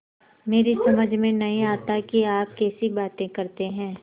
मेरी समझ में नहीं आता कि आप कैसी बातें करते हैं